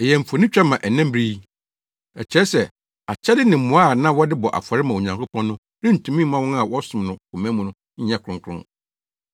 Ɛyɛ mfonitwa ma nnɛ bere yi. Ɛkyerɛ sɛ akyɛde ne mmoa a na wɔde bɔ afɔre ma Onyankopɔn no rentumi mma wɔn a wɔsom no koma mu nyɛ kronkron.